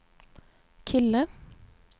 kille